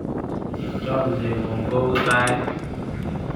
Chomye ng'ung' kou tait.